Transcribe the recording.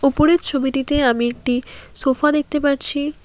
উপরের ছবিটিতে আমি একটি সোফা দেখতে পারছি।